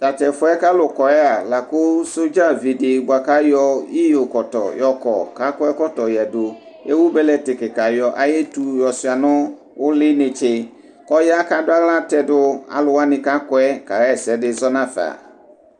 Tatʋ ɛfʋ yɛ kʋ alʋ kɔyɛ a lakʋ sɔdzavidi bʋakʋ ayɔ iyɔkɔtɔ yɔkɔ kʋ akɔ ɛkɔtɔ yadʋ ewʋ bɛlɛti kika yɔ ayʋ etʋ yɔsuia nʋ uli netse kʋ ɔya kʋ adʋ aɣla tɛdʋ alʋwani kʋ akɔ yɛ kaxa ɛsɛdi zɔnʋ afa.